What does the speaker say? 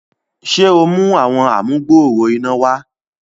ṣe o mú Àwọn amugbooro iná wá?